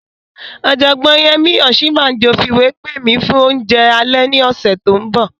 Ọ̀jọ̀gbọ́n Yẹmí Ọ̀síbánjọ fìwé pè mi fún oúnjẹ alẹ́ ní ọ̀sẹ̀ tó n bọ̀